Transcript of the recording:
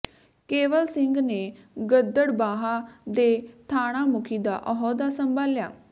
ਕੇਵਲ ਸਿੰਘ ਨੇ ਗਿੱਦੜਬਾਹਾ ਦੇ ਥਾਣਾ ਮੁਖੀ ਦਾ ਅਹੁਦਾ ਸੰਭਾਲਿਆ